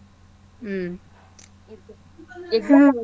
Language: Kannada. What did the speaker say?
ಹ್ಮ್. ಹ .